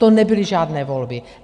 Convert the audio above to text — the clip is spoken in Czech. To nebyly žádné volby.